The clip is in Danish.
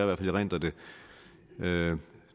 hvert fald erindrer det da